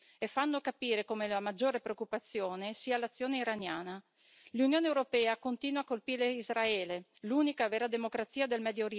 L'Unione europea continua a colpire Israele, l'unica vera democrazia del Medio Oriente, quando dovrebbe essere il terrorismo islamico il nemico da combattere.